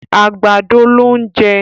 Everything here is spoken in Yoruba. àgbàdo ló n jẹ.